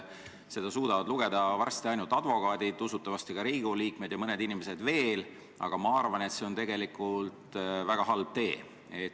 Seda suudavad lugeda varsti ainult advokaadid, usutavasti ka Riigikogu liikmed ja mõned inimesed veel, aga ma arvan, et oleme valinud väga halva tee.